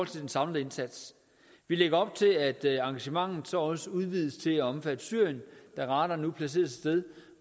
til den samlede indsats vi lægger op til at engagementet også udvides til at omfatte syrien da radaren nu placeres et sted